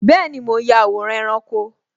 Bẹẹni, mo ń ya àwòrán ẹranko